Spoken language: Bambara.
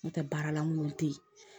N'o tɛ baarala minnu tɛ yen